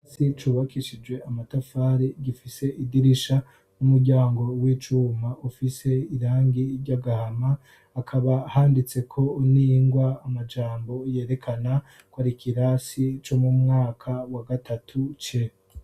Hasi cubakishije amatafari gifise idirisha n'umuryango w'icuma ufise irangi ry'agahama akaba handitse ko ningwa amajanbo yerekana kwari kirasi co mu mwaka wa gatatu ce